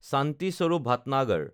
শান্তি স্বৰূপ ভাটনগৰ